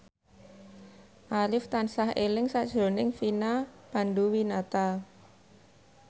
Arif tansah eling sakjroning Vina Panduwinata